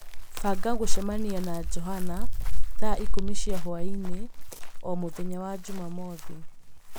banga gũcemania na Joanna thaa ikũmi cia hwaĩ-inĩ o mũthenya wa Jumamothu